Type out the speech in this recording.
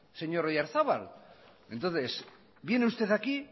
señor oyarzabal entonces viene usted aquí